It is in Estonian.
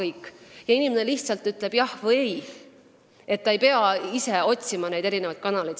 Inimene vastab lihtsalt "jah" või "ei" ega pea ise otsima mingeid kanaleid.